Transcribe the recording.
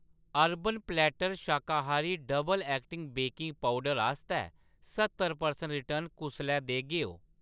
Urban platter शाकाहारी double acting baking powder आस्तै स्हत्तर परसैंट रिटर्न कुसलै देगे ओ ?